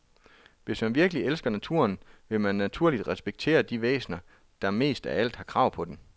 Hvis man virkelig elsker naturen, vil man naturligt respektere de væsener, der mest af alt har krav på den.